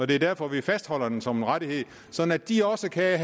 det er derfor vi fastholder den som en rettighed sådan at de også kan